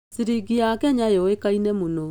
Ciringi ya Kenya yũĩkaine mũno.